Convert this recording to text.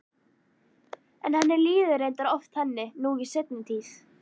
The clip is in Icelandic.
En henni líður reyndar oft þannig nú í seinni tíð.